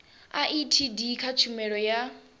a etd kha tshumelo ya